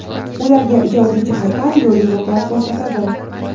ularga ijodiy jihatdan yo‘l-yo‘riqlar ko‘rsatadi;.